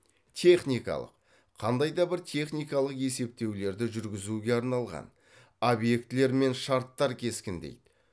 техникалық қандай да бір техникалық есептеулерді жүргізуге арналған объектілер мен шарттар кескіндейді